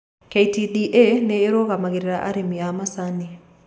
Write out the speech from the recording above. KTDA nĩyo ĩrũgamagĩrĩra arĩmi a macani